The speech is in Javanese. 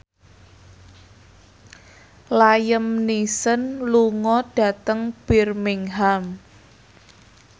Liam Neeson lunga dhateng Birmingham